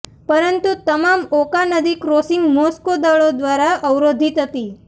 પરંતુ તમામ ઓકા નદી ક્રોસિંગ મોસ્કો દળો દ્વારા અવરોધિત હતી